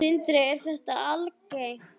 Sindri: Er þetta algengt?